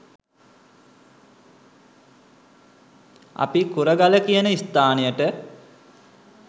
අපි කුරගල කියන ස්ථානයට